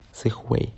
сыхуэй